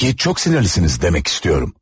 Bəlli ki, çox sinirlisiniz demək istəyirəm.